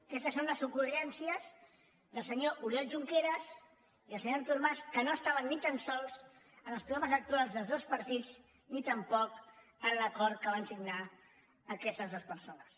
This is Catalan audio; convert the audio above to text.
aquestes són les ocurrències del senyor oriol junqueras i el senyor artur mas que no estaven ni tan sols en els programes electorals dels dos partits ni tampoc en l’acord que van signar aquestes dues persones